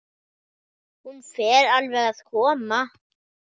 Hún fer alveg að koma.